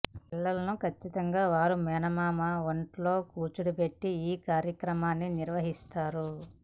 పిల్లలను ఖచ్చితంగా వాళ్ల మేనమామ ఒంట్లో కూర్చోబెట్టి ఈ కార్యక్రమాన్ని నిర్వహిస్తారు